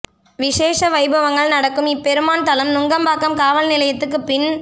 விசேஷ வைபவங்கள் நடக்கும் இப்பெருமான் தலம் நுங்கம்பாக்கம் காவல் நிலையத்துக்குப் பின்